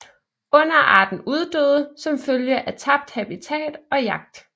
Underarten uddøde som følge af tabt habitat og jagt